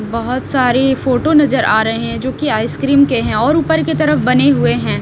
बहोत सारी फोटो नजर आ रहे हैं जो की आइसक्रीम के हैं और ऊपर की तरफ बने हुए हैं।